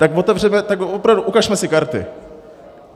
Tak otevřeme, tak opravdu ukažme si karty.